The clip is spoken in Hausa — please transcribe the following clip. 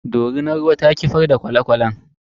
Dorinar ruwan ta kifar da kwale kwalen.